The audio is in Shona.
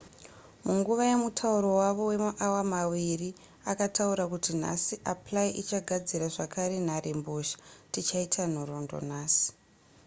munguva yemutauro wavo wemaawa maviri akataura kuti nhasi apply ichagadzira zvakare nharembozha tichaita nhoroondo nhasi